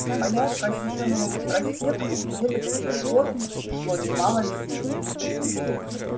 по ярко освещённому проспекту где до сих пор шло немало людей